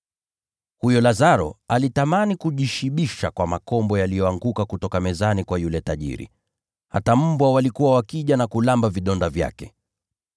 Huyo Lazaro alitamani kujishibisha kwa makombo yaliyoanguka kutoka mezani kwa yule tajiri. Hata mbwa walikuwa wakija na kuramba vidonda vyake.